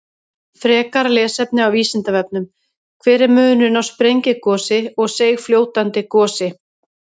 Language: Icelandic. Frekara lesefni á Vísindavefnum: Hver er munurinn á sprengigosi og seigfljótandi gosi?